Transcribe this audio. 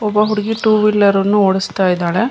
ಒಬ್ಬ ಹುಡುಗಿ two wheeler ಓಡಿಸ್ತಾ ಇದ್ದಾಳೆ.